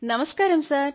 నమస్కారం సార్